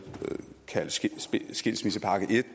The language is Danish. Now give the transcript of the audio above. kaldt skilsmissepakke en